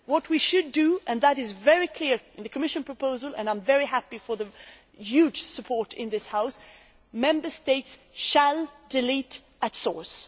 What we should do and this is very clear in the Commission proposal, and I am very happy to have the huge support in this House is ensure that Member States delete at source.